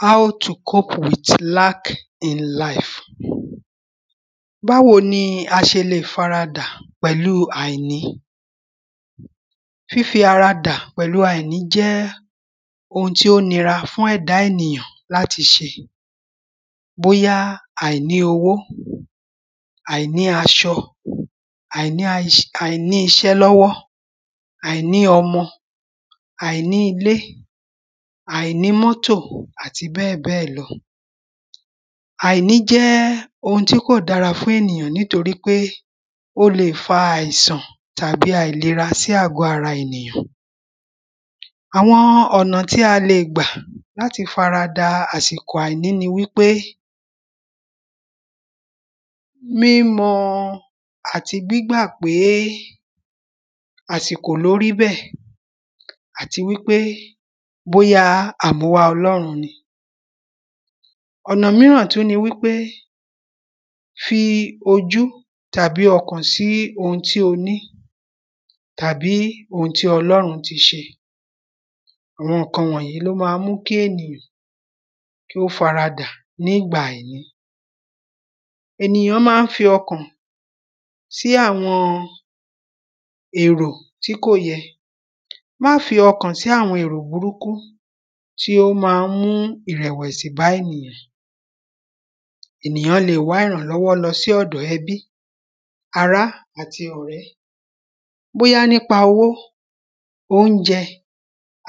How to cope with lack in life Báwo ni a ṣe lè faradà pẹ̀lú àìní Fífi ara dà pẹ̀lú àìní jẹ́ oun tí ó nira fún ẹ̀dá ènìyàn láti ṣe Bóyá àìní owó àìní aṣọ àìní iṣẹ́ lọ́wọ́ àìní ọmọ àìní ilé àìní mọ́tò àti bẹ́ẹ̀bẹ́ẹ̀ lọ Àìní jẹ́ oun tí kò dára fún ènìyàn nítorí pé o lè fa aisan tàbí àìlera sí àgọ́ ara ènìyàn Àwọn ọ̀nà tí a lè gbà láti faradà àsìkò àìní ni wípé Mímọ̀ àti gbígba pé àsìkò ni ó rí bẹ́ẹ̀ àti wípé bóyá àmúwá ọlọ́run ni Ọ̀nà mìíràn tún ni wípé fi ojú àbí ọkàn sí oun tí o ní tàbí oun tí ọlọ́run tí ṣe Àwọn nǹkan wọ̀nyìí ni ó máa ń mú kí ènìyàn kí ó faradà nígbà àìní Ènìyàn máa ń fi ọkàn sí àwọn èrò tí kò yẹ Má fi ọkàn sí àwọn èrò burúkú tí ó máa ń mú ìrẹ̀wẹ̀sì bá ènìyàn Ènìyàn lè wá ìrànlọ́wọ́ lọ sí ọ̀dọ̀ ẹbí ará àti ọ̀rẹ́ Bóyá nípa owó óunjẹ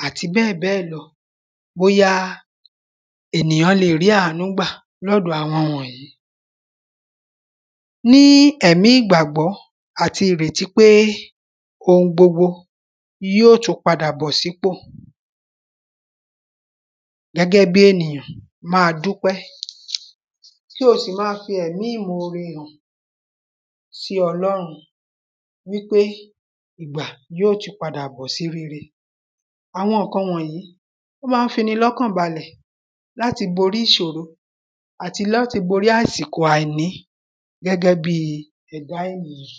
àti bẹ́ẹ̀bẹ́ẹ̀ lọ bóyá ènìyàn lè rí àánú gbà ní ọ̀dọ̀ àwọn wọ̀nyìí Ní ẹ̀mí ìgbàgbọ́ àti ìrètí pé oun gbogbo yóò tú padà bọ́sípò Gẹ́gẹ́ bíi ènìyàn máa dupe kí o sì máa fi ẹ̀mi ìmóòre hàn sí ọlọ́run wípé ìgbà yóò tú padà bọ́ sí rere Àwọn nǹkan wọ̀nyìí ó máa ń fi ẹni ní ọkàn balẹ̀ láti borí ìṣòro àti láti borí àsìkò àìní gẹ́gẹ́ bíi ẹ̀dá ènìyàn